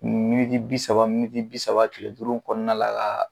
Miniti bi saba miniti bi saba tile duuru kɔnɔna la